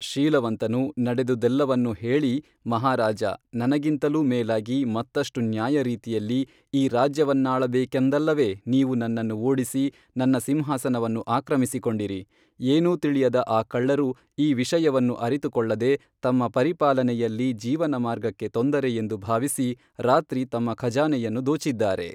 ಶೀಲವಂತನು ನಡೆದುದೆಲ್ಲವನ್ನೂ ಹೇಳಿ ಮಹಾರಾಜಾ ನನಗಿಂತಲೂ ಮೇಲಾಗಿ ಮತ್ತಷ್ಟು ನ್ಯಾಯರೀತಿಯಲ್ಲಿ ಈ ರಾಜ್ಯವನ್ನಾಳ ಬೇಕೆಂದಲ್ಲವೇ ನೀವು ನನ್ನನ್ನು ಓಡಿಸಿ ನನ್ನ ಸಿಂಹಾಸನವನ್ನು ಆಕ್ರಮಿಸಿಕೊಂಡಿರಿ, ಏನೂ ತಿಳಿಯದ ಆ ಕಳ್ಳರು ಈ ವಿಷಯವನ್ನು ಅರಿತುಕೊಳ್ಳದೆ ತಮ್ಮ ಪರಿಪಾಲನೆಯಲ್ಲಿ ಜೀವನ ಮಾರ್ಗಕ್ಕೆ ತೊಂದರೆ ಎಂದು ಭಾವಿಸಿ ರಾತ್ರಿ ತಮ್ಮ ಖಜಾನೆಯನ್ನು ದೋಚಿದ್ದಾರೆ